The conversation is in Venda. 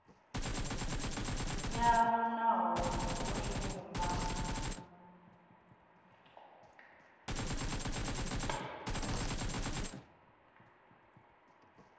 yavho nahone i do shuma